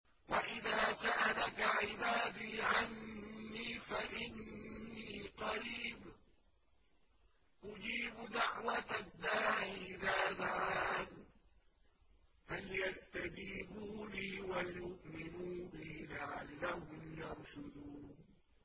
وَإِذَا سَأَلَكَ عِبَادِي عَنِّي فَإِنِّي قَرِيبٌ ۖ أُجِيبُ دَعْوَةَ الدَّاعِ إِذَا دَعَانِ ۖ فَلْيَسْتَجِيبُوا لِي وَلْيُؤْمِنُوا بِي لَعَلَّهُمْ يَرْشُدُونَ